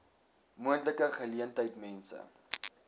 moontlike geleentheid mense